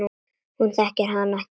Hún þekkir hann ekki.